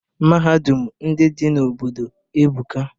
Mahadum ndị dị n'obodo ebuka.